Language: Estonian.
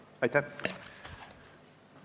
Aitäh!